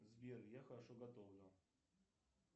сбер я хорошо готовлю